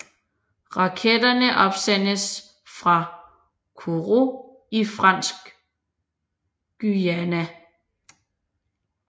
Raketterne opsendes fra Kourou i Fransk Guyana